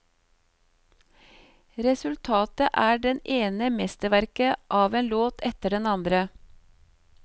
Resultatet er det ene mesterverket av en låt etter den andre.